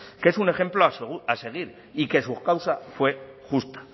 que es un ejemplo a seguir y que su causa fue justa